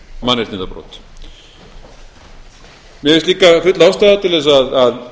mannréttindabrot mér finnst líka full ástæða til þess að